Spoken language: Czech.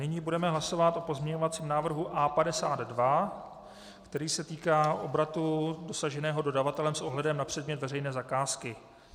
Nyní budeme hlasovat o pozměňovacím návrhu A52, který se týká obratu dosaženého dodavatelem s ohledem na předmět veřejné zakázky.